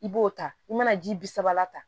I b'o ta i mana ji bi sabala tan